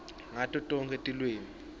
ngato tonkhe tilwimi